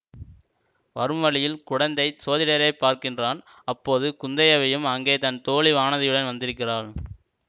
வரும்வழியில் குடந்தை ஜோதிடரைப் பார்க்கிறான் அப்போது குந்தைவயும் அங்கே தன் தோழி வானதியுடன் வந்திருக்கிறாள்